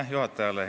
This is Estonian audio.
Hea juhataja!